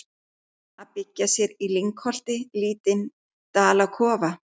Að byggja sér í lyngholti lítinn dalakofa.